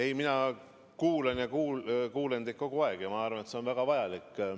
Ei, mina kuulan ja kuulen teid kogu aeg, ja ma arvan, et see on väga vajalik.